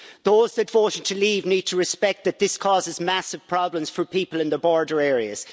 Those that voted to leave need to respect that this causes massive problems for people in the border areas.